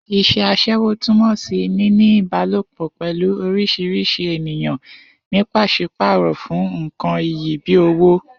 Is̩é̩ as̩é̩wó túmò̩ sí níní ìbálòpò pè̩lú orís̩irís̩i ènìyàn ní pàs̩ípàrò̩ fún nǹkan iyì bíi owó